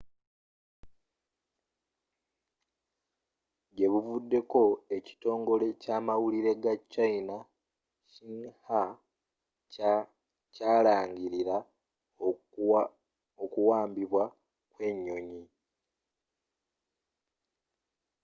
gyebuvuddeko ekitongole kyamawulire ga china xinhua kya kyalangilira okuwambibwa kw'enyonyi